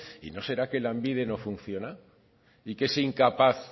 y no será que lanbide no funciona y que es incapaz